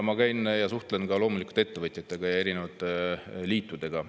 Ma käin ja suhtlen loomulikult ka ettevõtjate ja erinevate liitudega.